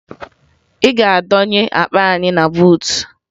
Ị ga-adọnye akpa anyị na buutu!